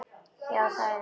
Já, það er hann.